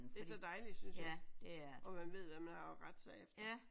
Det er så dejligt synes jeg og man ved hvad man har at rette sig efter